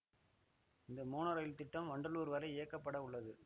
இந்த mono rail திட்டம் வண்டலூர் வரை இயக்கப்பட உள்ளது